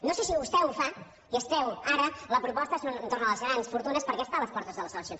no sé si vostè ho fa i es treu ara la proposta entorn les grans fortunes perquè està a les portes de les eleccions